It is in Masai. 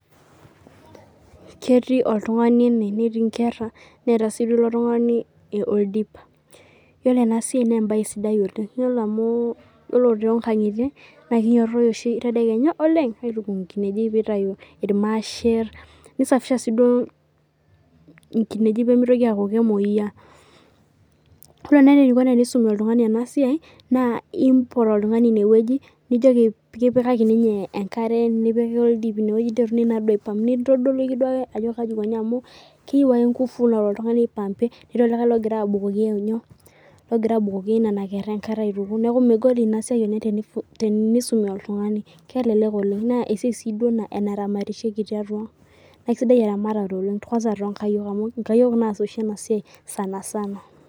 ketii oltung'ani ene netii inkera neeta sii oldip ore ena siai naa ebaye sidai oleng, naa kinyototoi oshi tedekenya atuku aiku irmasher, nisafisha inkinejik pee mitoki aaku kemoyia, ore naa enikoni tenisumi oltung'ani enasiai naa impotu ake oltung'ani ineweji niliki eniko tenepik oldip , keyieu ake inkufu naipaampie netii naa oltungani logira abukoki engare, naa kelek ena siai oleng amu enaramatishoreki tiang' naa esiai onkayiok oshi ena sana sana.